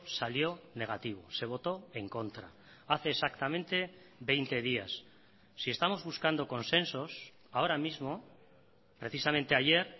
salió negativo se voto en contra hace exactamente veinte días si estamos buscando consensos ahora mismo precisamente ayer